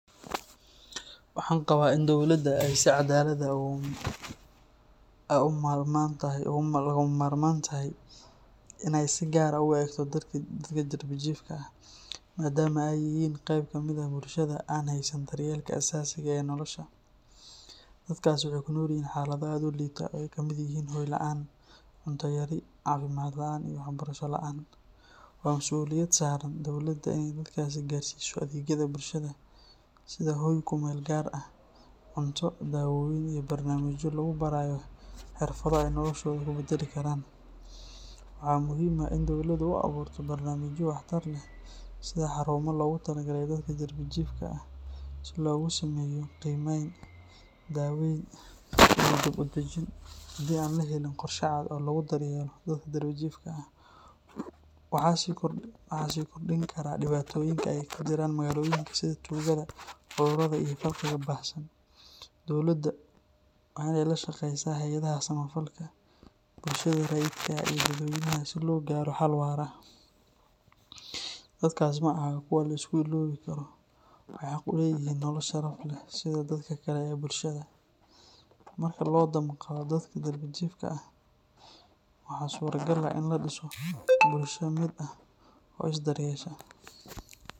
Waxaan qabaa in dowladda ay si cadaalad ah ugama maarmaan u tahay inay si gaar ah u eegto dadka darbi jiifka ah, maadaama ay yihiin qeyb kamid ah bulshada aan haysan daryeelka aasaasiga ah ee nolosha. Dadkaasi waxay ku nool yihiin xaalado aad u liita oo ay ka mid yihiin hoy la’aan, cunto yari, caafimaad la’aan iyo waxbarasho la’aan. Waa masuuliyad saaran dowladda inay dadkaas gaarsiiso adeegyada bulshada sida hoy ku meel gaar ah, cunto, daawooyin, iyo barnaamijyo lagu barayo xirfado ay noloshooda ku beddeli karaan. Waxaa muhiim ah in dowladdu u abuurto barnaamijyo waxtar leh sida xarumo loogu talagalay dadka darbi jiifka ah si loogu sameeyo qiimeyn, daaweyn iyo dib-u-dajin. Haddii aan la helin qorshe cad oo lagu daryeelo dadka darbi jiifka ah, waxay sii kordhin karaan dhibaatooyinka ka jira magaalooyinka sida tuugada, cudurrada iyo faqriga baahsan. Dowladda waa in ay la shaqeysaa hay’adaha samafalka, bulshada rayidka ah, iyo dadweynaha si loo gaaro xal waara. Dadkaas ma aha kuwo la iska illoobi karo; waxay xaq u leeyihiin nolol sharaf leh sida dadka kale ee bulshada. Marka loo damqado dadka darbi jiifka ah, waxaa suuragal ah in la dhiso bulsho mid ah oo is daryeesha.